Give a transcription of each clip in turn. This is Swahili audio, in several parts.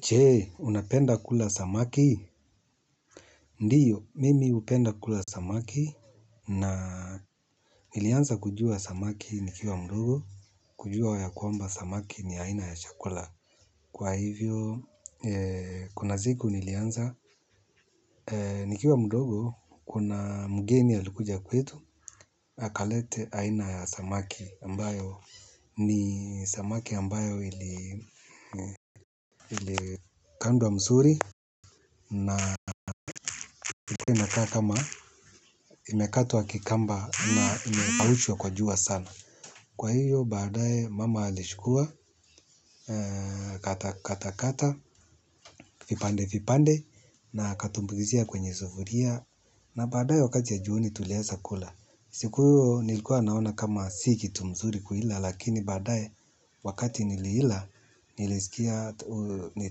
Je, unapenda kula samaki? Ndiyo, mimi hupenda kula samaki na nilianza kujua samaki nikiwa mdogo, kujua ya kwamba samaki ni aina ya chakula. Kwa hivyo, kuna siku nilianza, nikiwa mdogo, kuna mgeni alikuja kwetu, akaleta aina ya samaki ambayo ni samaki ambayo ilikandwa mzuri. Na ilikuwa inakaa kama imekatwa kikamba na imekaushwa kwa jua sana. Kwa hiyo baadaye mama alichukua akakata kata vipande vipande na akatumbukizia kwenye sufuria. Na baadaye wakati ya jioni tuliweza kula. Siku hiyo nilikuwa naona kama si kitu mzuri kuila lakini baadaye wakati niliila nilisikia ni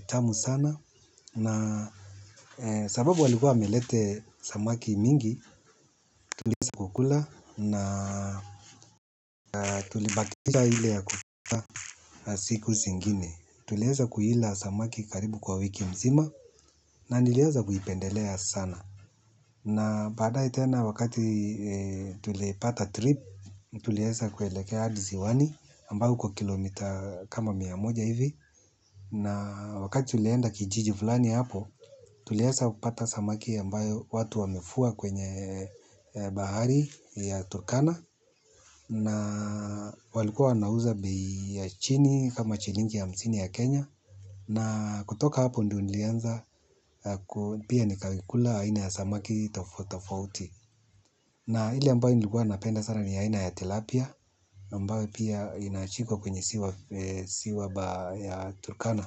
tamu sana na sababu walikuwa wamelete samaki mingi, tuliweza kukula na tulibakisha ile ya kukula siku zingine. Tuliweza kuila samaki karibu kwa wiki mzima na niliweza kuipendelea sana. Na baadaye tena wakati tulipata trip, tuliweza kuelekea hadi ziwani ambayo kwa kilomita kama mia moja hivi. Na wakati tulienda kijiji fulani hapo. Tuliweza kupata samaki ambayo watu wamevua kwenye bahari ya Turkana. Na walikuwa wanauza bei ya chini kama shilingi hamsini ya Kenya. Na kutoka hapo ndio nilianza pia nikakula aina ya samaki tofauti tofauti. Na ile ambayo nilikuwa napenda sana ni aina ya Tilapia ambayo pia inashikwa kwenye ziwa ya Turkana.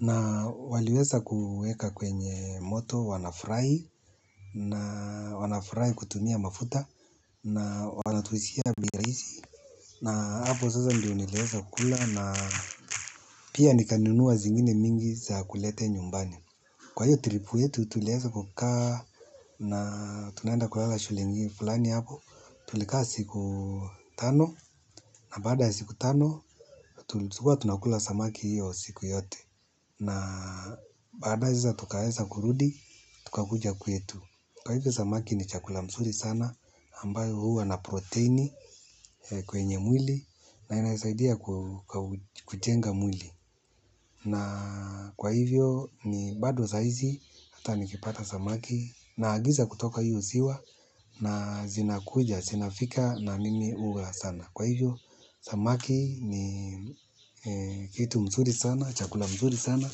Na waliweza kuweka kwenye moto wanafry na wanafry kutumia mafuta na wanatuuzia bei rahisi na hapo sasa ndio niliweza kukula na pia nikanunua zingine mingi za kulete nyumbani. Kwa hiyo tripu yetu, tuliweza kukaa na tunaenda kulala shule ingine, fulani hapo, tulikaa siku tano na baada siku tano, tulikuwa tunakula samaki hiyo siku yote. Na baadaye sasa tukaweza kurudi tukakuja kwetu. Kwa hivyo samaki ni chakula mzuri sana, ambayo huwa na protini kwenye mwili na inaisaidia kujenga mwili. Na kwa hivyo ni bado sahizi hata nikipata samaki naagiza kutoka hio ziwa na zinakuja zinafika na mimi hula sana. Kwa hivyo samaki ni kitu mzuri sana, chakula mzuri sana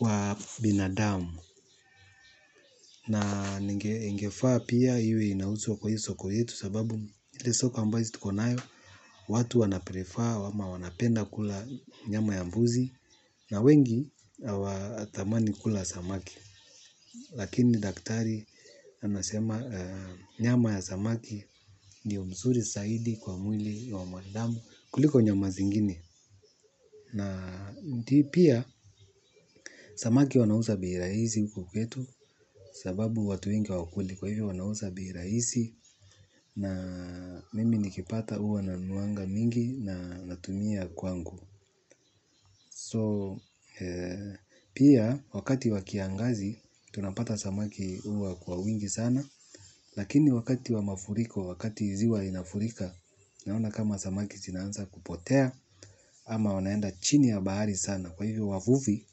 wa binadamu. Na ingefaa pia we inauzwa kwa hii soko yetu sababu ile soko ambazo tuko nayo watu wanaprefer ama wanapenda kula nyama ya mbuzi. Na wengi hawatamani kula samaki. Lakini daktari anasema nyama ya samaki ndiyo mzuri zaidi kwa mwili wa mwanadamu kuliko nyama zingini. Na pia samaki wanauza bei rahisi huku kwetu sababu watu wenga hawakuli kwa hivyo wanausza bei rahisi na mimi nikipata huwa nanunuanga mingi na natumia kwangu So, pia wakati wa kiangazi tunapata samaki huwa kwa wingi sana lakini wakati wa mafuriko wakati ziwa inafurika naona kama samaki zinaanza kupotea ama wanaenda chini ya bahari sana kwa hivyo wavuvi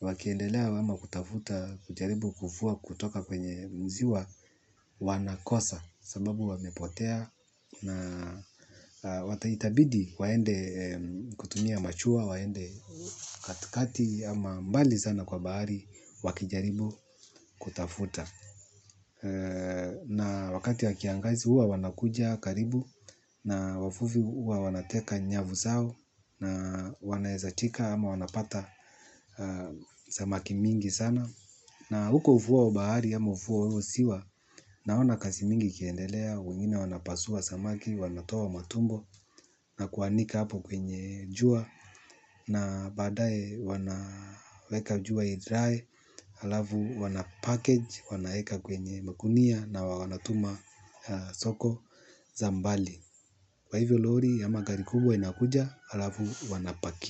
wakiendelea ama kutafuta, kujaribu kuvua kutoka kwenye ziwa, wanakosa, sababu wamepotea, na wata itabidi waende kutumia mashua waende katikati ama mbali sana kwa bahari wakijaribu kutafuta. Na wakati wa kiangazi huwa wanakuja karibu na wavuvi huwa wanateka nyavu zao na wanaezashika ama wanapata samaki mingi sana. Na huko ufuo wa bahari ama ufuo wa ziwa, naona kazi mingi ikiendelea, wengine wanapasua samaki, wanatoa matumbo na kuanika hapo kwenye jua, na baadaye wanaweka jua idry, halafu wanapackage, wanaweka kwenye magunia na wanatuma soko za mbali. Kwa hivyo lori, ama gari kubwa inakuja, halafu wanapakia.